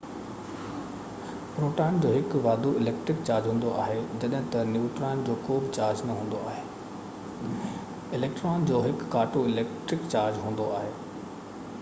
proton جو هڪ واڌو اليڪٽرڪ چارج هوندو آهي جڏهن تہ نيوٽران جو ڪو بہ چارج نہ هوندو آهي اليڪٽران جو هڪ ڪاٽو اليڪٽرڪ چارج هوندو آهي